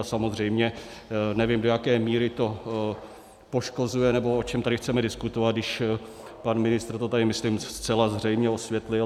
A samozřejmě nevím, do jaké míry to poškozuje, nebo o čem tady chceme diskutovat, když pan ministr to tady myslím zcela zřejmě osvětlil.